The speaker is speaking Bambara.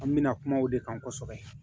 An mɛna kuma o de kan kosɛbɛ